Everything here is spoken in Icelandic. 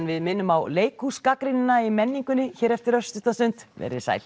við minnum á í menningunni hér eftir örstutta stund verið sæl